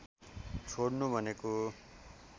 छोड्नु भनेको